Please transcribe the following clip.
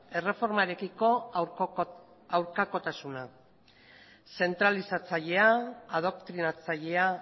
erreformarekiko aurkakotasuna zentralizatzailea adoktrinatzailea